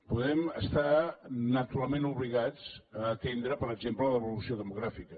podem estar naturalment obligats a atendre per exemple l’evolució demogràfica